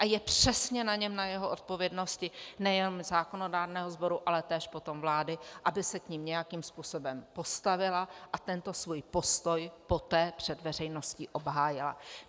A je přesně na něm, na jeho odpovědnosti, nejenom zákonodárného sboru, ale též potom vlády, aby se k nim nějakým způsobem postavila a tento svůj postoj poté před veřejností obhájila.